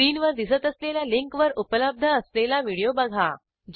स्क्रीनवर दिसत असलेल्या लिंकवर उपलब्ध असलेला व्हिडिओ बघा